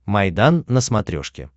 майдан на смотрешке